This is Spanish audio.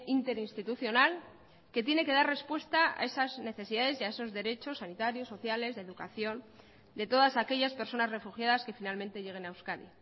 interinstitucional que tiene que dar respuesta a esas necesidades y a esos derechos sanitarios sociales de educación de todas aquellas personas refugiadas que finalmente lleguen a euskadi